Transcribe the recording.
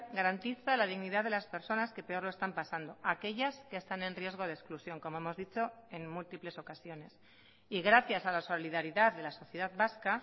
garantiza la dignidad de las personas que peor lo están pasando aquellas que están en riesgo de exclusión como hemos dicho en múltiples ocasiones y gracias a la solidaridad de la sociedad vasca